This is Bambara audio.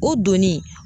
O donni